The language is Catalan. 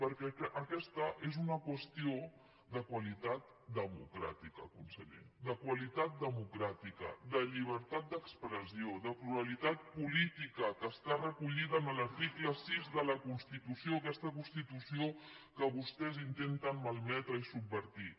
perquè aquesta és una qüestió de qualitat democràtica conseller de qualitat democràtica de llibertat d’expressió de pluralitat política que està recollida en l’article sis de la constitució aquesta constitució que vostès intenten malmetre i subvertir